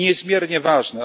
To jest niezmiernie ważne.